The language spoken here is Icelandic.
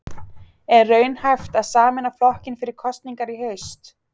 Er raunhæft að sameina flokkinn fyrir kosningar í haust?